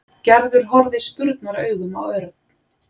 Gerður horfði spurnaraugum á Örn.